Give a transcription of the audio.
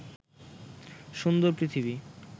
সুন্দর পৃথিবী